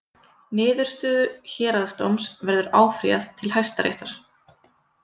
Niðurstöðu Héraðsdóms verður áfrýjað til Hæstaréttar